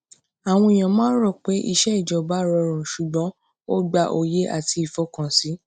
àwọn èèyàn máa ń rò pé iṣẹ ìjọba rọrùn ṣùgbọn ó gba òye àti ìfọkànsìn